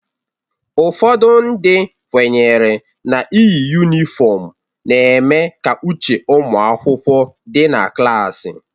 Ụfọdụ ndị kwenyere n'iyi yunifọmu na-eme ka uche ụmụakwụkwọ dị na klasi